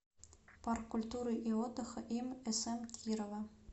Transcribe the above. парк культуры и отдыха им см кирова